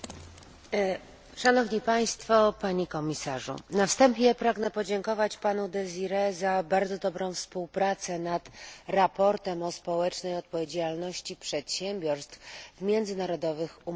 Panie Przewodniczący, Panie Komisarzu! Na wstępie pragnę podziękować panu Désirowi za bardzo dobrą współpracę nad sprawozdaniem o społecznej odpowiedzialności przedsiębiorstw w międzynarodowych umowach handlowych.